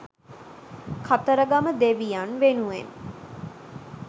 කතරගම දෙවියන් වෙනුවෙන්